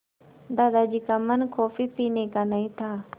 दादाजी का मन कॉफ़ी पीने का नहीं था